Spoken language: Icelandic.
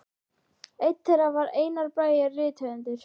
Einn þeirra var Einar Bragi rithöfundur.